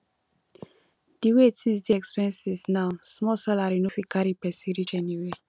di way tins dey expensive now small salary no fit carry pesin reach anywhere